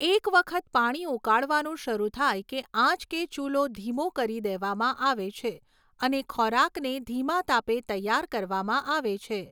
એક વખત પાણી ઉકળવાનું શરૂ થાય કે આંચ કે ચૂલો ધીમો કરી દેવામાં આવે છે અને ખોરાકને ધીમા તાપે તૈયાર કરવામાં આવે છે.